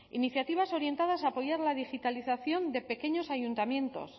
iniciativas orientadas a apoyar la digitalización de pequeños ayuntamientos